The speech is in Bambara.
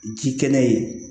Ji kɛnɛ ye